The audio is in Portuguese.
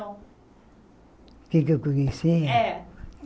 O que é que eu conhecia? É